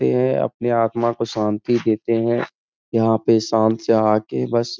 यह अपने आत्मा को शान्ति देते हैं। यहाँ पे शांत से आके बस --